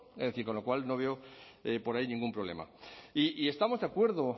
es decir con lo cual no veo por ahí ningún problema y estamos de acuerdo